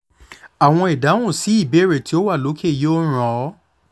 awọn idahun si ibeere ti o wa loke yoo ran ọ